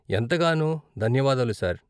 ఎంతగానో ధన్యవాదాలు, సార్.